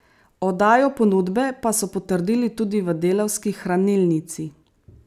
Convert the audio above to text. Oddajo ponudbe pa so potrdili tudi v Delavski hranilnici.